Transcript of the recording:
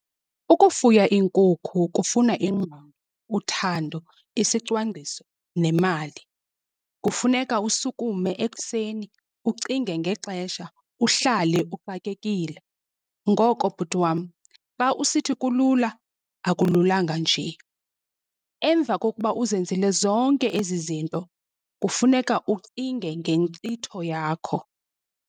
Ukufuya iinkukhu kufuna ingqondo, uthando isicwangciso nemali. Kufuneka usukume ekuseni ucinge ngexesha uhlale uxakekile. Ngoko bhuti wam, xa usithi kulula akululanga nje. Emva kokuba uzenzile zonke ezi zinto kufuneka ucinge ngenkcitho yakho.